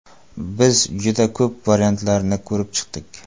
Biz juda ko‘p variantlarni ko‘rib chiqdik.